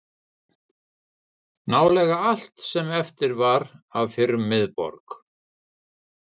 Nálega allt sem eftir var af fyrrum miðborg